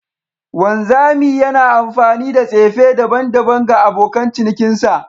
Wanzami yana amfani da tsefe daban-daban ga abokan cinikinsa